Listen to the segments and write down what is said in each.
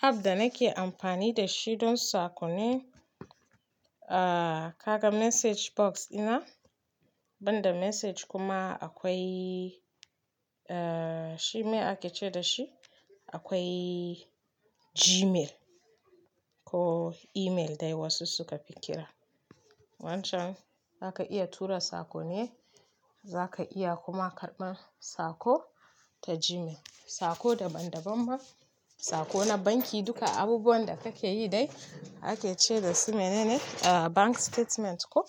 Ab da nake amfani da shi don sakon ni. Aaa, kaga message box dina, banda message kuma akwai, aa shi me ake ce da shi? Akwai gmail kuh email dai wasu sukafi kira. Wancan za ka iya tura sako ne, za ka iya kuma karɓar sako ta Gmail. Sako daban-daban ma, sako na banki duka abubuwan da kake yi dai ake ce da su mene ne? Bank statement ko?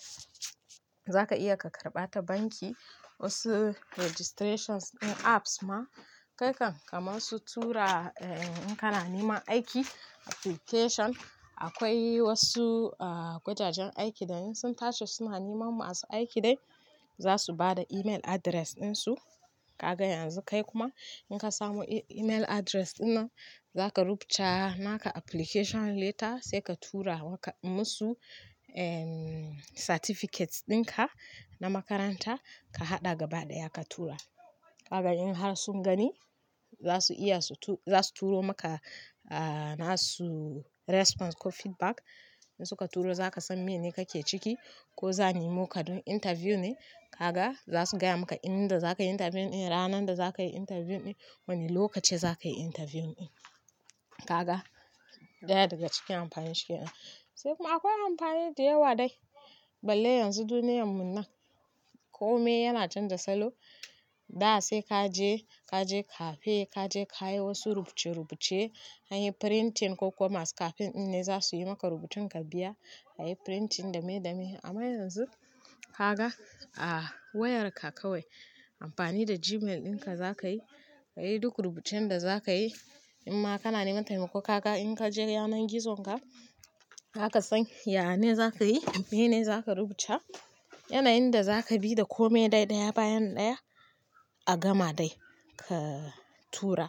Za ka iya ka karɓa ta banki. Wasu registrations din apps ma, kai kan kamar su tura in kana neman aiki application. Akwai wasu wajajen aiki da in sun tace suna neman mu a su aiki dai za su ba da email address ɗin su. Ka ga yanzu kai kuma in ka samu email address dinnan, za ka rubuta naka application letter sai ka tura maka musu certificates ɗinka na makaranta ka haɗa gaba ɗaya ka tura. Ka ga in har sun gani za su iya su tu-- za su turo maka aa nasu response ko feedback. In suka turo za ka san mene kake ciki ko za ni mo ka don interview ne. Ka ga za su gaya maka inda za ka yi interview ɗin, ranar da za ka yi interview ɗin, wane lokaci za ka yi interview ɗin. Ka ga ɗaya daga cikin amfanin shi ke nan. Sai kuma akwai amfani da yawa dai. Balle yanzu duniyyar mu nan kome yana canza salo. Da sai ka je ka je cafe, ka je ka yi wasu rubuce-rubuce, an yi printing ko koma su cafe dinnan za su yi maka rubutun ka biya. An yi printing dame-dame amma yanzu ka ga a wayarka kawai amfani da Gmail ɗinka za ka yi. Ka yi duk rubucen da za ka yi in ma kana neman taimako ka ga in ka je yanar gizon ka, haka san ya ne za ka yi, mene ne za ka rubuta, yanayin da za ka bi da kome dai ɗaya bayan ɗaya a gama dai ka tura.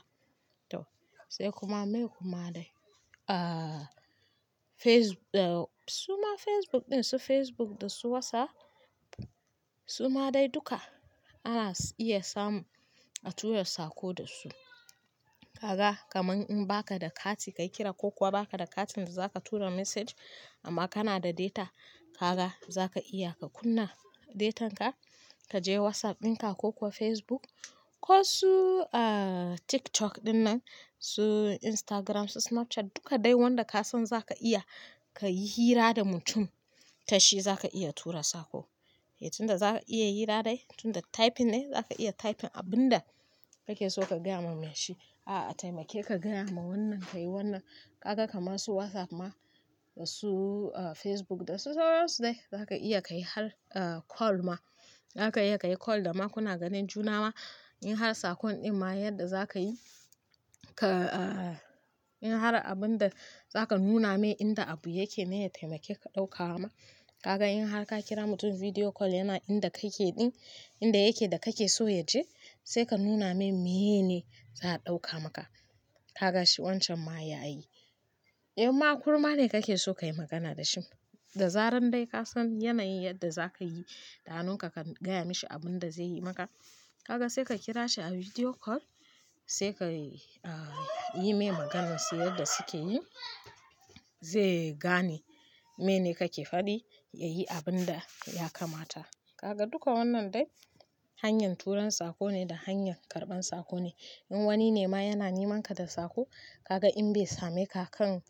To sai kuma me kuma dai. Aaa face-- suma Facebook ɗin su Facebook da su WhatsApp suma dai duka ana iya samu a tura sako da su. Ka ga kamar in ba ka da kati ka kira ko kuwa ba ka da kati da za ka tura message amma kana da data, ka ga za ka iya ka kunna datan ka, ka je WhatsApp ɗinka ko kuwa Facebook ko su TikTok dinnan, su Instagram, su Snapchat duka dai wanda ka san za ka iya ka yi hira da mutum ta shi za ka iya tura sako. Eh tunda za ka iya hira dai tunda typing ne za ka iya typing abin da kake so ka gaya mai shi. A'a taimake ka gaya ma wannan ka yi wannan. Ka ga kamar su WhatsApp ma da su Facebook da su sauransu dai za ka iya ka yi har call ma. Za ka iya ka yi call da ma kuna ganin juna ma. In har sakon ɗin ma yadda za ka yi ka in har abin da za ka nuna mai inda abu yake me ya taimake ka ɗauka wa ma. Ka ga in har ka kira mutum video call yana inda kake ɗin inda yake da kake so ya je sai ka nuna mai mene za a ɗauka maka. Ka ga shi wancan ma ya yi. In ma kurma ne kake so ka yi magana da shi da zaran dai ka san yanayin yadda za ka yi da hannu ka ka gaya mashi abin da zai yi maka. Ka ga sai ka kira shi a video call sai ka yi mai maganar su yadda suke yi. Zai gane mene kake faɗi ya yi abin da ya kamata. Kaga duka wannan dai hanyar turan sakone da hanyar karban sako ne. In wani ne ma yana neman ka da sako ka ga in bai same ka kan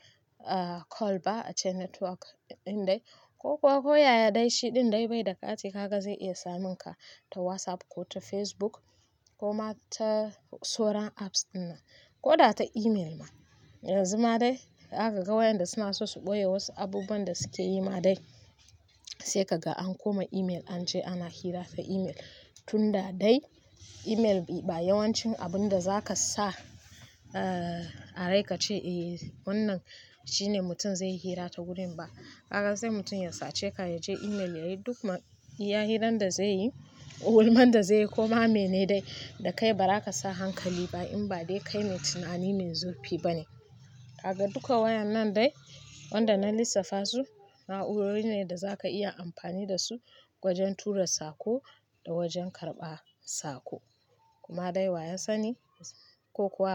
call ba ace network ɗin dai ko kuwa ko yaya dai shi ɗin dai bai da kati ka ga zai iya samun ka ta WhatsApp ko ta Facebook ko ma ta sauran apps dinnan ko da ta email ma. Yanzu ma dai aka ga wayan da suna so su ɓoye wasu abubuwan da suke yi ma dai sai ka ga an koma email an ce ana hira ta email. Tunda dai email ba yawancin abun da za ka sa a raika ce eh wannan shine mutum zai yi hira ta gurin ba. Ka ga sai mutum ya sace ka ya je email ya yi duk iyahiran da zai yi, gulman da zai yi ko ma mene dai da kai ba za ka sa hankali ba in ba dai kai mai tunani mai zurfi ba ne. Kaga duka wadan nan dai wadanda nalissafa dai na'urorine wadanda zaka iya am fani dasu wajan tura sako da wajan karban sako kuma dai waya sani ko kuwa.